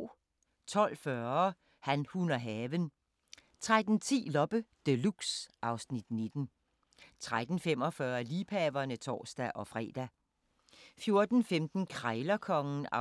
12:40: Han, hun og haven 13:10: Loppe Deluxe (Afs. 19) 13:45: Liebhaverne (tor-fre) 14:15: Krejlerkongen (36:40)